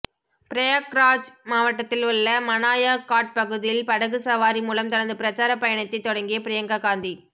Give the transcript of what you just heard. பிரயாக்ராஜ் மாவட்டத்தில் உள்ள மனாயா காட் பகுதியில் படகு சவாரி மூலம் தனது பிரசார பயணத்தை தொடங்கிய பிரியங்கா காந்தி